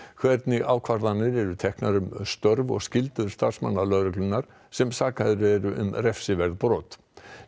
hvernig ákvarðanir eru teknar um störf og skyldur starfsmanna lögreglunnar sem sakaðir eru um refsiverð brot